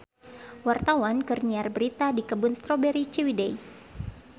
Wartawan keur nyiar berita di Kebun Strawberry Ciwidey